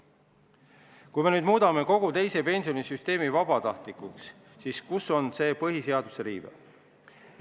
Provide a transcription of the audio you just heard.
Kui me nüüd muudame kogu teise pensionisamba vabatahtlikuks, siis kus on see põhiseaduse riive?